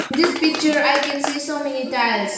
this picture i can see so many tiles.